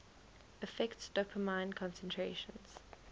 affects dopamine concentrations